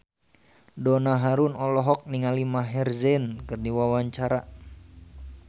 Donna Harun olohok ningali Maher Zein keur diwawancara